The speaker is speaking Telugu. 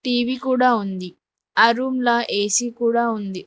టీ_వీ కూడా ఉంది ఆ రూమ్ల ఏ_సి కూడా ఉంది.